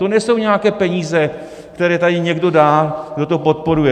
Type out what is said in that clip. To nejsou nějaké peníze, které tady někdo dá, kdo to podporuje.